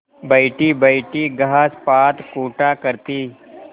बैठीबैठी घास पात कूटा करती